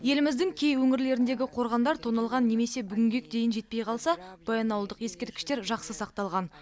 еліміздің кей өңірлеріндегі қорғандар тоналған немесе бүгінгі күнге дейін жетпей қалса баянауылдық ескерткіштер жақсы сақталған